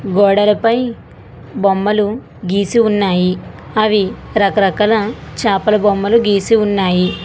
గోడలపై బొమ్మలు గీసి ఉన్నాయి అవి రకరకాల చేపల బొమ్మలు గీసి ఉన్నాయి.